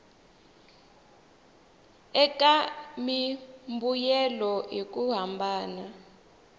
eka mimbuyelo hi ku hambana